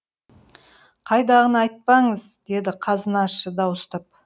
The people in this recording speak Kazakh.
қайдағыны айтпаңыз деді қазынашы дауыстап